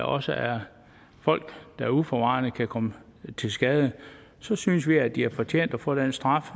også er folk der jo uforvarende kan komme til skade så synes vi at de har fortjent at få den straf